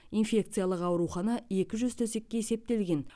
инфекциялық аурухана екі жүз төсекке есептелген